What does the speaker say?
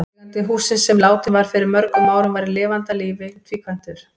Eigandi hússins, sem látinn var fyrir mörgum árum, var í lifanda lífi tvíkvæntur.